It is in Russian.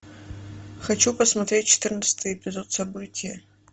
хочу посмотреть четырнадцатый эпизод событие